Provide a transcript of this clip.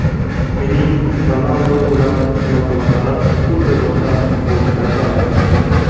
Mening Ronaldu bilan munosabatlarim xuddi boshqa futbolchilar kabi.